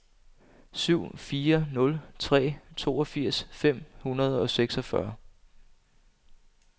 syv fire nul tre toogfirs fem hundrede og seksogfyrre